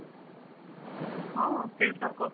ହଁ ଶିଲ୍ପା କହ।